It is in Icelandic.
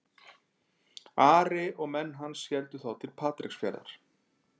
Ari og menn hans héldu þá til Patreksfjarðar.